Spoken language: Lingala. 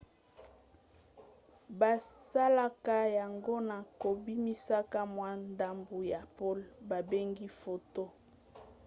basalaka yango na kobimisaka mwa ndambu ya pole babengi photon